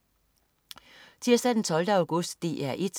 Tirsdag den 12. august - DR 1: